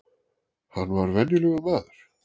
Hann var venjulegur maður.